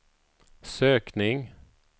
sökning